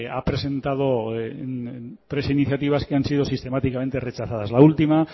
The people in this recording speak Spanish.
ha presentado tres iniciativas que han sido sistemáticamente rechazadas la última